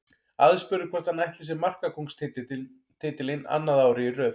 Aðspurður hvort hann ætli sér markakóngstitilinn annað árið í röð.